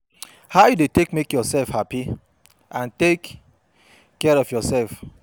how you dey take make yourself happy and take care of yourself?